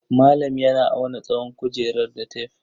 Malam yana auna tsawon kujerar da tef.